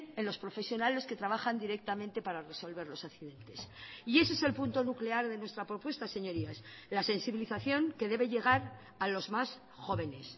en los profesionales que trabajan directamente para resolver los accidentes y ese es el punto nuclear de nuestra propuesta señorías la sensibilización que debe llegar a los más jóvenes